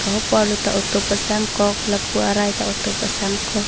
lapu arlo ta auto pasang kok lapu arai ta auto pasang kok.